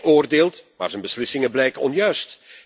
Hij oordeelt, maar zijn beslissingen blijken onjuist.